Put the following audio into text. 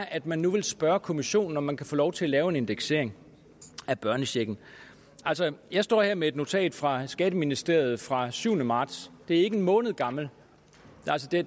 at man nu vil spørge kommissionen om man kan få lov til at lave en indeksering af børnechecken jeg står her med et notat fra skatteministeriet fra syvende marts det er ikke en måned gammelt